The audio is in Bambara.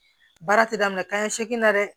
Baara ti daminɛ kanɲɛ segin na dɛ